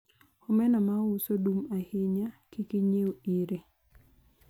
omena ma ouso dum ahinya, kik inyiew ire